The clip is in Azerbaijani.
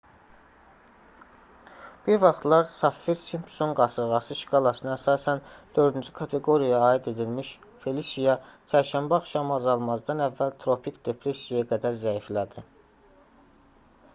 bir vaxtlar saffir-simpson qasırğası şkalasına əsasən 4-cü kateqoriyaya aid edilmiş felisiya çərşənbə axşamı azalmazdan əvvəl tropik depressiyaya qədər zəiflədi